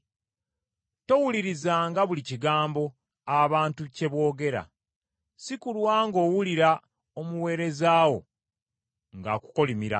Towulirizanga buli kigambo, bantu kye boogera, si kulwa ng’owulira omuweereza wo ng’akukolimira,